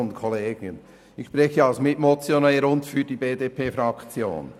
Ichspreche als Mitmotionär und für die BDP-Fraktion.